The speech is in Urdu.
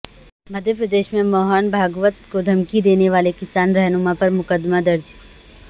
مدھیہ پردیش میں موہن بھاگوت کو دھمکی دینے والے کسان رہنما پر مقدمہ درج